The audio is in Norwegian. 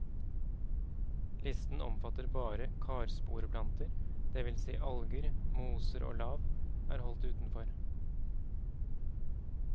Listen omfatter bare karsporeplanter, det vil si at alger, moser og lav er holdt utenfor.